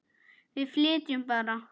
Við flytjum bara!